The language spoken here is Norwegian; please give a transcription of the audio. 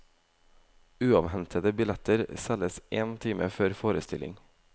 Uavhentede billetter selges én time før forestilling.